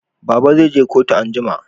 Baba zai je kotu anjima